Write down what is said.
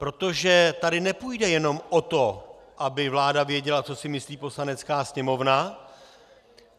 Protože tady nepůjde jen o to, aby vláda věděla, co si myslí Poslanecká sněmovna.